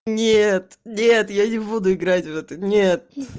нет нет я не буду играть в это нет